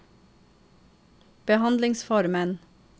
behandlingsformen